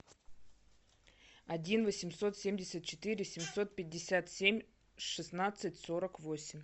один восемьсот семьдесят четыре семьсот пятьдесят семь шестнадцать сорок восемь